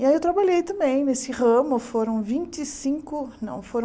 E aí eu trabalhei também nesse ramo, foram vinte e cinco não foram